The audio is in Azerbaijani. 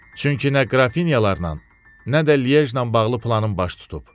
Çünki nə Qrafinyalarla, nə də Lij ilə bağlı planın baş tutub.